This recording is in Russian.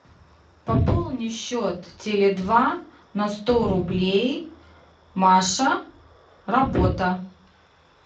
пополни счет теле два на сто рублей маша работа